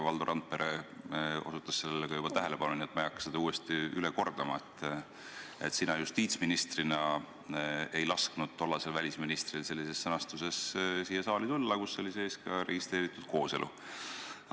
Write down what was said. Valdo Randpere juhtis sellele juba tähelepanu, nii et ma ei hakka seda kordama, et sina justiitsministrina ei lasknud tollasel välisministril tuua siia saali eelnõu, kus oli juttu ka registreeritud kooselust.